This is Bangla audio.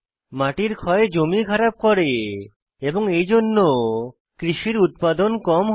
মাটির ক্ষয় জমি খারাপ করে এবং এইজন্য কৃষির উত্পাদন কম হয়